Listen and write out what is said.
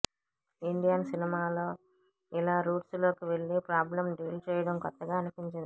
Indian సినిమాలో ఇలా roots లోకి వెళ్లి ప్రాబ్లెమ్ డీల్ చేయడం కొత్తగా అనిపించింది